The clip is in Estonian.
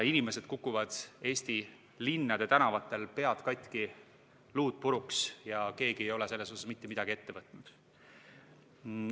Inimesed kukuvad Eesti linnade tänavatel pead katki, luud puruks, ja keegi ei ole selles suhtes mitte midagi ette võtnud.